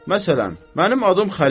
Məsələn, mənim adım Xəlildir.